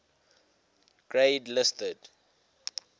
grade listed